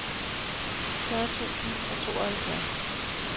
fyrre tusind og tooghalvfjerds